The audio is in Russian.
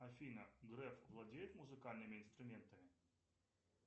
афина греф владеет музыкальными инструментами